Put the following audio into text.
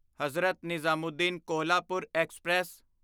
Hazrat Nizamuddin Kolhapur express